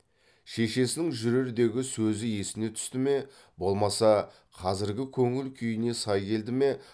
шешесінің жүрердегі сөзі есіне түсті ме болмаса қазіргі көңіл күйіне сай келді ме